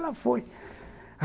Ela foi.